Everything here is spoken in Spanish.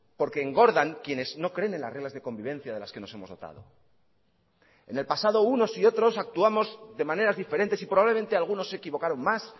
porque engordan quienes no creen en las reglas de convivencia de las que nos hemos dotado en el pasado unos y otros actuamos de maneras diferentes y probablemente algunos se equivocaron más